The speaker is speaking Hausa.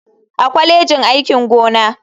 A kwalejin aikin gona.